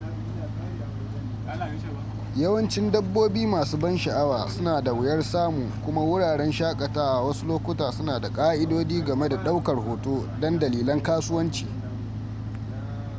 yawancin dabbobi masu ban sha'awa suna da wuyar samu kuma wuraren shakatawa wasu lokuta suna da ƙa'idodi game da ɗaukar hoto don dalilan kasuwanci